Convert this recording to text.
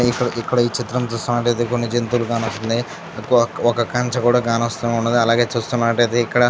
ఇక్కడ ఈ చిత్రం చూసినట్టయితే కొన్ని జంతువులు కానొస్తున్నాయి. ఒక కంచి కూడా కానొస్తున్నాయి. అలాగే చూస్తున్నట్లయితే ఇక్కడ --